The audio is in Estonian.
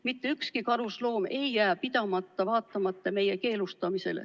Mitte ükski karusloom ei jää pidamata, kuigi meie selle keelustame.